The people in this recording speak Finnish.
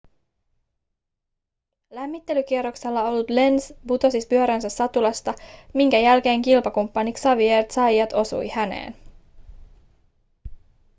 lämmittelykierroksella ollut lenz putosi pyöränsä satulasta minkä jälkeen kilpakumppani xavier zayat osui häneen